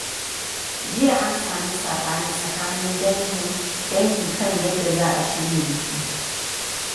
Jiya, an sami saɓani tsakanin dangi kan yadda za a shirya biki.